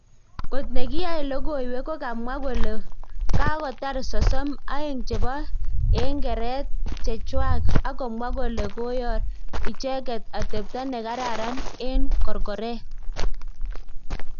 Kot nekiyae logowek kokamwa kole kakotar sosom aeg chepo eng geret chechwang akomwa kole koyor icheget atepto negaran en korkoret.